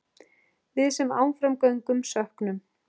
Við sem áfram göngum söknum.